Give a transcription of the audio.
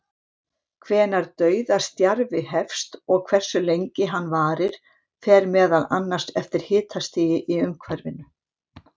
Hvenær dauðastjarfi hefst og hversu lengi hann varir fer meðal annars eftir hitastigi í umhverfinu.